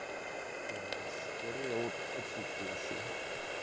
скорее отсутствующей